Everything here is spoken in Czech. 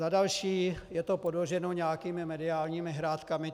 Za další, je to podloženo nějakými mediálními hrátkami.